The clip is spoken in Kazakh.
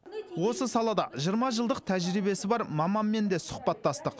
осы салада жиырма жылдық тәжірибесі бар маманмен де сұхбаттастық